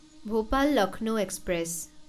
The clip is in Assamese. ভোপাল লক্ষ্ণৌ এক্সপ্ৰেছ